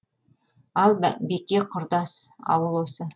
ал беке құрдас ауыл осы